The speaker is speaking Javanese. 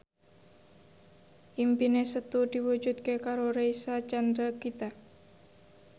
impine Setu diwujudke karo Reysa Chandragitta